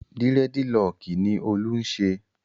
Dírẹ́dilọọkì ni Olú ń ṣe.